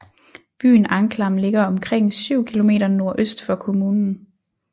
Byen Anklam ligger omkring syv kilometer nordøst for kommunen